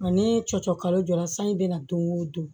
Nka ni cɔcɔ kalo jɔra sanji bɛna don o don